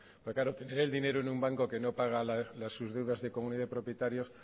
porque claro tener el dinero en un banco que no paga sus deudas de comunidad de propietarios